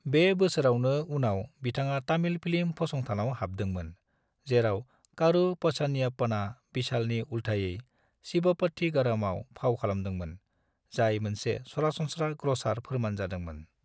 बे बोसोरावनो उनाव बिथाङा तामिल फिल्म फसंथानाव हाबदोंमोन, जेराव कारू पझानियप्पनआ विशालनि उलथायै 'शिवप्पथीगरम'आव फाव खालामदोंमोन, जाय मोनसे सरासनस्रा ग्रसार फोरमान जादोंमोन।